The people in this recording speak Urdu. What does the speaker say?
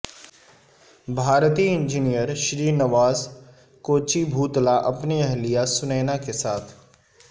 بھارتی انجینئر شری نواس کوچیبھوتلا اپنی اہلیہ سنینا کے ساتھ